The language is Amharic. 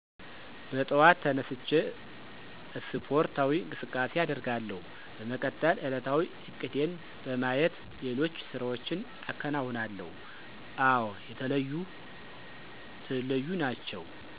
በጠዋት ተነስቸ አስፖርታዊ እቅሳቃሴ አደርጋለሁ፣ በመቀጠል ዕለታዊ እቅዴን በማየት ሌሎች ስራዎችን አከነውናለሁ፤ አወ የተለዩ ናቸው።